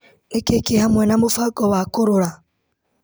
Nĩkĩĩ kĩ hamwe na mũbango wa kũrũra.